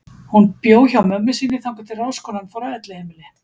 Hún bjó hjá mömmu sinni þangað til ráðskonan fór á elliheimili.